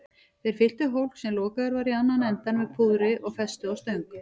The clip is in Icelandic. Þeir fylltu hólk, sem lokaður var í annan endann, með púðri og festu á stöng.